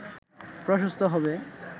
প্রশস্ত হবে